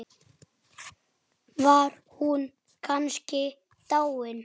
Bara um sjálfan sig.